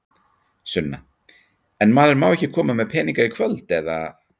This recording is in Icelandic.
Sunna: En maður má ekki koma með peninga í kvöld, eða?